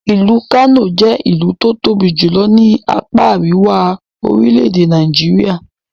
Ìlú Kano jẹ́ ìlú tó tóbi jùlọ ní apá Àríwá orilẹ̀-èdè Nigeria.